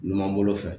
Numan bolo fɛ